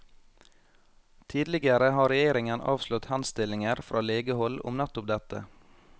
Tidligere har regjeringen avslått henstillinger fra legehold om nettopp dette.